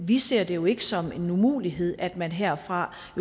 vi ser det jo ikke som en umulighed at man herfra